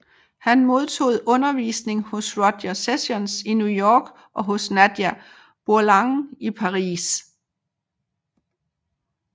Han modtog undervisning hos Roger Sessions i New York og hos Nadia Boulanger i Paris